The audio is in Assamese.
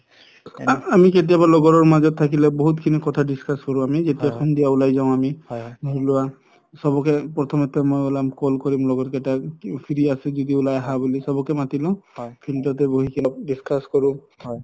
আমি কেতিয়াবা লগৰ মাজত থাকিলে বহুত খিনি কথা discuss কৰো আমি যেতিয়া সন্ধিয়া উলাই যাও আমি ধৰি লোৱা প্ৰথমেতো মই উলাম call কৰিম লগৰ কেইটাক free আছে যদি উলাই আহা বুলি চবকে মাতিলো field তে বহি কিনে discuss কৰো